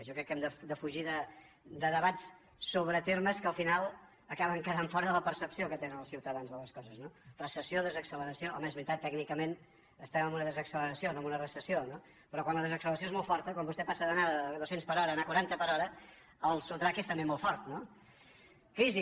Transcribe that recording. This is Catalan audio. jo crec que hem de defugir debats sobre termes que al final acaben quedant fora de la percepció que tenen els ciutadans de les coses no recessió desaccelera·ció home és veritat tècnicament estem en una des· acceleració no en una recessió no però quan la desac· celeració és molt forta quan vostè passa d’anar a dos·cents per hora a anar a quaranta per hora el sotrac és també molt fort no crisi